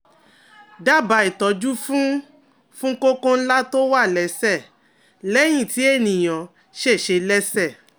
Dábàá ìtọ́jú fún fún kókó ńlá tó wà lẹ́sẹ̀ lẹ́yìn tí ènìyàn ṣèṣe lẹ́sẹ̀